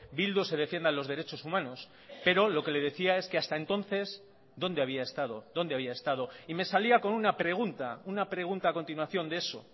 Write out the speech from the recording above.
bildu se defiendan los derechos humanos pero lo que le decía es que hasta entonces dónde había estado dónde había estado y me salía con una pregunta una pregunta a continuación de eso